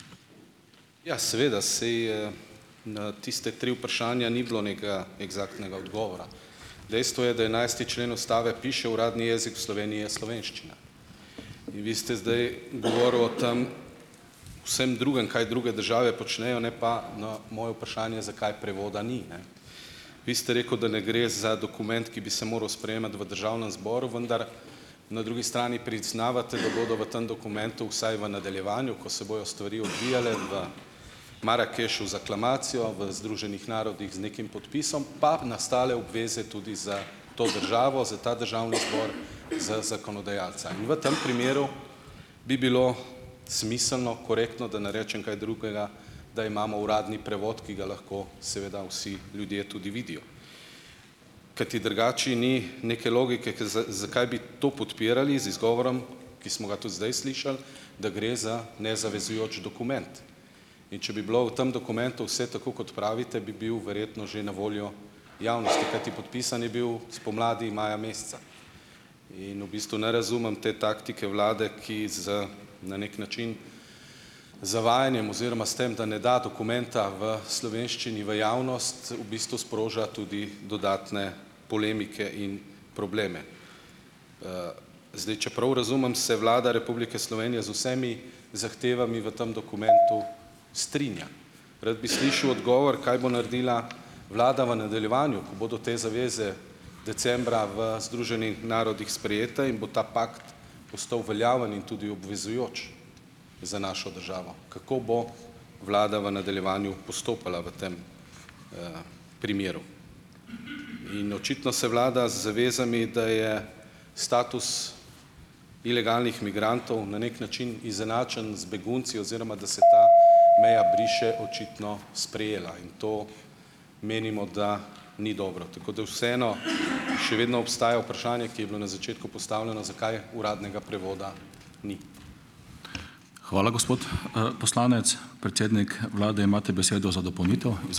Ja, seveda saj na tista tri vprašanja ni bilo ni eksaktnega odgovora. Dejstvo je, da enajsti člen ustave piše: "Uradni jezik v Sloveniji je slovenščina." In vi ste zdaj govoril o tem vsem drugem, kaj druge države počnejo ne pa na moje vprašanje, zakaj prevoda ni, ne. Vi ste rekel, da ne gre za dokument, ki bi se moral sprejemati v državnem zboru, vendar na drugi strani priznavate, da bodo v tem dokumentu vsaj v nadaljevanju, ko se bojo stvari odvijale v Marakešu z aklamacijo v Združenih narodih z nekim podpisom, pa nastale obveze tudi za to državo, za ta državni zbor, za zakonodajalca. V tem primeru bi bilo smiselno, korektno, da ne rečem kaj drugega, da imamo uradni prevod, ki ga lahko seveda vsi ljudje tudi vidijo, kajti drugače ni neke logike, ker zakaj bi to podpirali z izgovorom, ki smo ga tudi zdaj slišali, da gre za nezavezujoč dokument. In če bi bilo v tam dokumentu vse tako, kot pravite, bi bil verjetno že na voljo javnosti, kajti podpisan je bil spomladi maja meseca in v bistvu ne razumem te taktike vlade, ki z na neki način z zavajanjem oziroma s tem, da ne da dokumenta v slovenščini v javnost, v bistvu sproža tudi dodatne polemike in probleme. Zdaj, če prav razumem se Vlada Republike Slovenije z vsemi zahtevami v tam dokumentu strinja. Rad bi slišal odgovor, kaj bo naredila vlada v nadaljevanju, ko bodo te zaveze decembra v Združenih narodnih sprejete in bo ta pakt postal veljaven in tudi obvezujoč za našo državo. Kako bo vlada v nadaljevanju postopala v tem, primeru? In očitno se vlada z zavezami, da je status ilegalnih migrantov na neki način izenačen z begunci oziroma da se ta meja briše, očitno sprejela in to menimo, da ni dobro. Tako da vseeno še vedno obstaja vprašanje, ki je bilo na začetku postavljeno - zakaj uradnega prevoda ni?